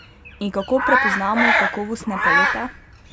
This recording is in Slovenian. In kako prepoznamo kakovostne pelete?